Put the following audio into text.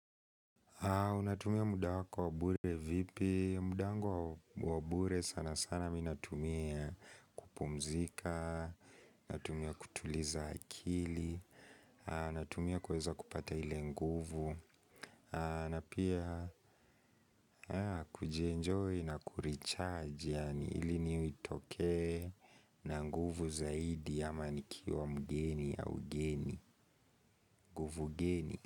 Unatumia muda wako wa bure vipi, muda wangu wa bure sana sana mimi natumia kupumzika, natumia kutuliza akili, natumia kuweza kupata ili nguvu na pia kujienjoy na kuricharge, ili nitoke e na nguvu zaidi ama nikiuwa mgeni au geni, nguvu geni.